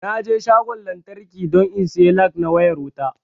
Naje shagon lantraki don in sayi lag na wayar wuta